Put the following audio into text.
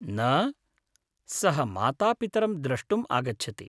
न, सः मातापितरं द्रष्टुम् आगच्छति।